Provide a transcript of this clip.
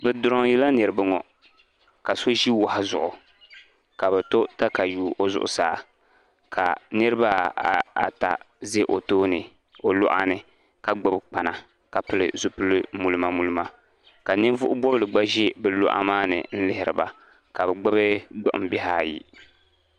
Bɛ diroyi la niriba ŋɔ ka so ʒi wahu zuɣu ka bɛ to takayuu o zuɣusaa ka niriba ata ʒɛ o tooni o luɣani la gbibi kpana ka pili zipili mulima mulima ka.ninvuɣu bobili gba ʒi bɛ luɣa maani n lihiri ba ka gbibi gbuɣinbihi ayi.